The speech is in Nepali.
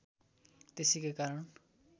त्यसैका कारण